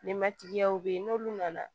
Ninmatigiyaw bɛ yen n'olu nana